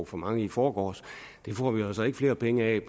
for mange i forgårs det får vi altså ikke flere penge af